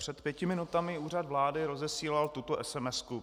Před pěti minutami Úřad vlády rozesílal tuto sms.